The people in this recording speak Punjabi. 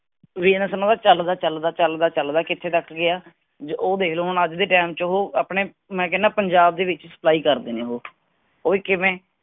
business ਉਹਨਾਂ ਦਾ ਚਲਦਾ ਚਲਦਾ- ਚਲਦਾ ਚਲਦਾ ਕਿਥੇ ਤਕ ਗਿਆ ਹੈ ਆਹ ਦੇਖਿਓ ਲੋ ਅੱਜ ਦੇ ਟਾਈਮ ਚ ਓਹੋ ਆਪਣੇ ਮੈਂ ਕਹਿਣਾਂ ਪੰਜਾਬ ਦੇ ਵਿਚ supply ਕਰਦੇ ਨੇ ਓਹੋ ਉਹ ਵੀ ਕਿਵੇਂ